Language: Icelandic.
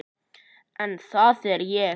En það er ég.